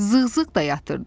Zığ-zığ da yatırdı.